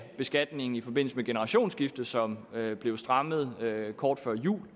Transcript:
beskatningen i forbindelse med generationsskifte som blev strammet kort før jul